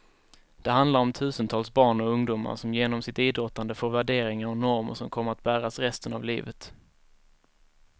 Det handlar om tusentals barn och ungdomar som genom sitt idrottande får värderingar och normer som kommer att bäras resten av livet.